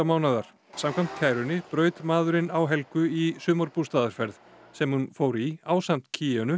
mánaðar samkvæmt kærunni braut maðurinn á Helgu í sumarbústaðarferð sem hún fór í ásamt